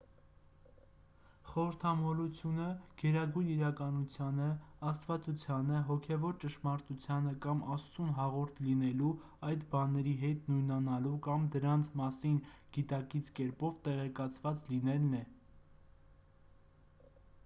խորհրդամոլությունը գերագույն իրականությանը աստվածությանը հոգևոր ճշմարտությանը կամ աստծուն հաղորդ լինելու այդ բաների հետ նույնանալու կամ դրանց մասին գիտակից կերպով տեղեկացված լինելն է